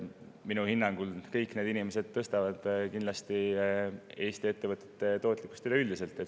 Minu hinnangul tõstavad kõik need inimesed kindlasti Eesti ettevõtete tootlikkust üleüldiselt.